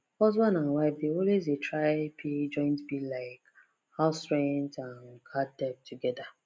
husband and wife dey always try pay joint bill like house rent and card debt togedr